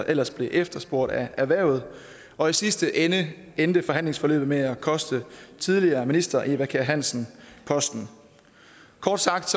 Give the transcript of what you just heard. ellers blev efterspurgt af erhvervet og i sidste ende endte forhandlingsforløbet med at koste tidligere minister eva kjer hansen posten kort sagt